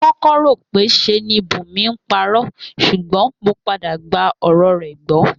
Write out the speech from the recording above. Mo kó̩kó̩ rò pé s̩e ni Bùnmi ń paró̩ s̩ùgbó̩n mo padà gba ò̩rò̩ rè̩ gbó̩